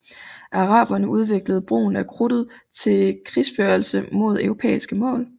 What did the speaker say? Araberne udviklede brugen af krudtet til krigsførelse mod europæiske mål